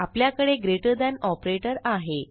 आपल्याकडे greater than operator आहे